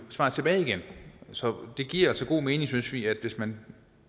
tilbage igen så det giver altså god mening synes vi at hvis man